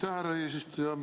Aitäh, härra eesistuja!